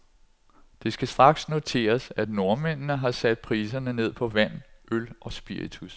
Det skal straks noteres, at nordmændene har sat priserne ned på vand, øl og spiritus.